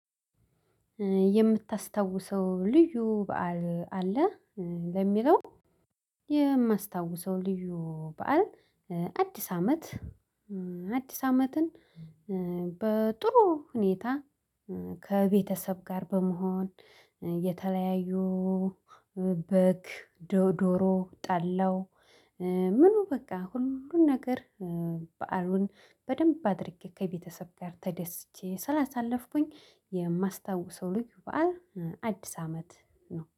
የምታስታውሰው ልዩ በዓል አለ ለሚለው? የማስታውሰው ልዩ በዓል አዲስ አመት አዲስ አመትን በጥሩ ሁኔታ ከቤተሰብ ጋር በመሆን የተለያዩ በግ ዶሮ ጠላው። ምኑ በቃ ሁሉን ነገር። በዓሉን በደንብ አድርጌ ከቤተሰብ ጋር ተደስቼ ስላሳለፍኩኝ የማስታውሰው ልዩ በዓል አዲስ አመት ነው